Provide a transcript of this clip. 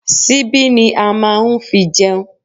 Síbí ni à máa n fi jẹun